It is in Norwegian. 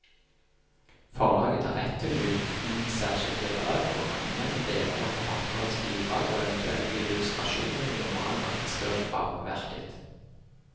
Forlaget har rett til uten særskilt vederlag å anvende deler av forfatterens bidrag og eventuelle illustrasjoner i normal markedsføring av verket.